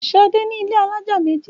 Ṣadé ní ilé alájà méjì.